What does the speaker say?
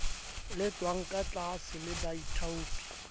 lefshwang ka tlaase le baithaopi